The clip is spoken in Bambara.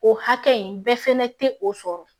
O hakɛ in bɛɛ fɛnɛ tɛ o sɔrɔ